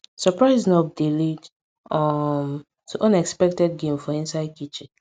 surprise knock dey lead um to unexpected game for inside kitchen